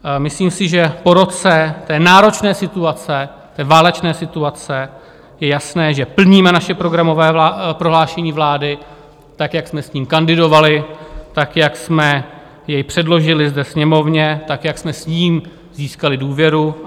Myslím si, že po roce té náročné situace, té válečné situace, je jasné, že plníme naše programové prohlášení vlády, tak jak jsme s ním kandidovali, tak jak jsme jej předložili ve Sněmovně, tak jak jsme s ním získali důvěru.